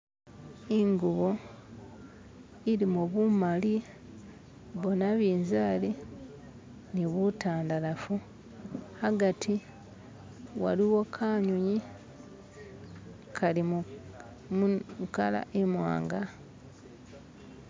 Ingubo ilimo bumali, bonabinzaali ni butandalafu, hagati waliwo kanyunyi kali mulanji imwanga.